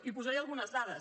i hi posaré algunes dades